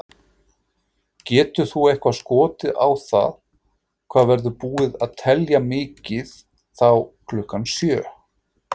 Getur þú eitthvað skotið á það hvað verður búið að telja mikið þá klukkan sjö?